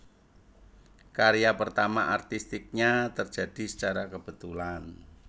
Karya pertama artistiknya terjadi secara kebetulan